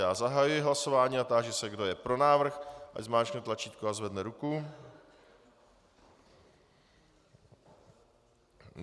Já zahajuji hlasování a táži se, kdo je pro návrh, ať zmáčkne tlačítko a zvedne ruku.